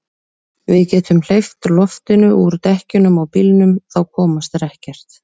Við getum hleypt loftinu úr dekkjunum á bílnum. þá komast þeir ekkert.